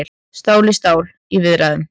Stál í stál í viðræðum